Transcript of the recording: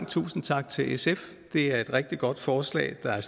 tusind tak til sf det er et rigtig godt forslag der er